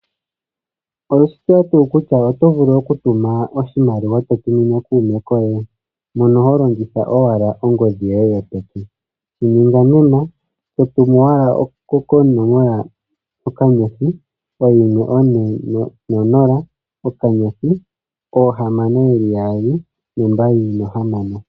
Oweshi tseya tu kutya oto vulu oku tuma oshimaliwa to tumine kuume koye? Mono ho longitha owala ongodhi yoye yopeke. Shininga nena to tumu owala koonomola okanyothi oyimwe one nonola okanyothi oohamano yeli yaali nombaali nohamano.